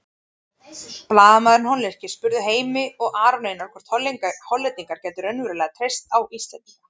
Blaðamaðurinn hollenski spurði Heimi og Aron Einar hvort Hollendingar gætu raunverulega treyst á Íslendinga.